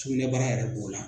Cugunɛbara yɛrɛ b'o la